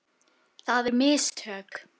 Það eru mistök.